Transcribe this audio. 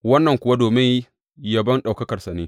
Wannan kuwa domin yabon ɗaukakarsa ne.